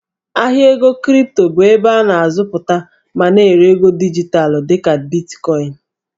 Ahịa ego kripto bụ ebe a na-azụta ma na-ere ego dijitalụ dị ka Bitkọịn.